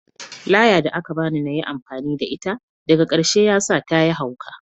Laya da ka bani na yi amfani da ita, daga karshe ya sa ta yi hauka